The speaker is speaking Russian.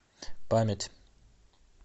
память